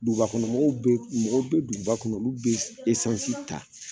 Dugubakɔnɔ mɔgɔw bɛ mɔgɔw bɛ duguba kɔnɔ olu bɛ esansi ta